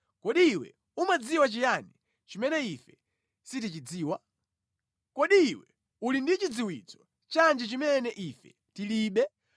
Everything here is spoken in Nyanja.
Kodi iwe umadziwa chiyani chimene ife sitichidziwa? Kodi iwe uli ndi chidziwitso chanji chimene ife tilibe?